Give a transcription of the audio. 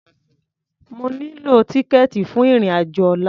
Mo nílò tíkẹ̀ẹ̀tì fún ìrìn-àjò ọlla.